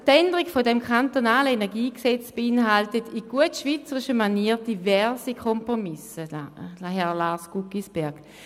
Die Änderung dieses KEnG beinhaltet in gut schweizerischer Manier diverse Kompromisse, Lars Guggisberg.